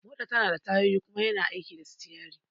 Mota tanada tayoyi kuma yana aiki da sitiyari